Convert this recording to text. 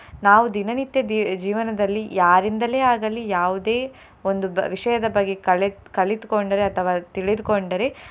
ನಾವು ದಿನನಿತ್ಯ ದಿ~ ಜೀವನದಲ್ಲಿ ಯಾರಿಂದಲೇ ಆಗಲಿ ಯಾವುದೇ ಒಂದು ಬ~ ವಿಷಯದ ಬಗ್ಗೆ ಕಲೆ~ ಕಲಿತುಕೊಂಡರೆ ಅಥವಾ ತಿಳಿದುಕೊಂಡರೆ.